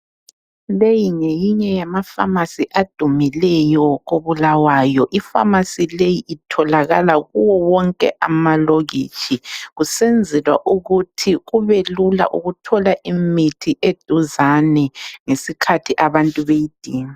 Leyi ngeyinye yafamasi adumileyo koBulawayo, ifamasi leyi itholakala kuwo wonke amalokitshi kusenzelwa ukuthi kubelula ukuthola imithi eduzane ngesikhathi abantu beyidinga.